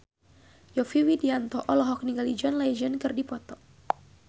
Yovie Widianto olohok ningali John Legend keur diwawancara